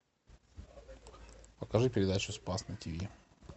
покажи передачу спас на тиви